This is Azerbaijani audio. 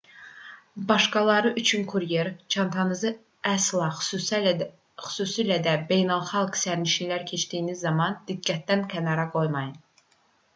başqaları üçün kuryer çantanızı əsla xüsusilə də beynəlxalq sərhədləri keçdiyiniz zaman diqqətdən kənar qoymayın